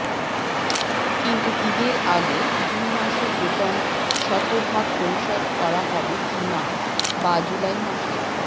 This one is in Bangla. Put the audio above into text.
কিন্তু ঈদের আগে জুন মাসের বেতন শতভাগ পরিশোধ করা হবে কি না বা জুলাই মাসের